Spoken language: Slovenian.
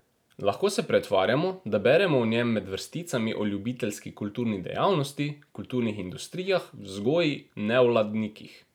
Lahko se pretvarjamo, da beremo o njem med vrsticami o ljubiteljski kulturni dejavnosti, kulturnih industrijah, vzgoji, nevladnikih.